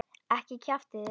Ekki kjaftið þið.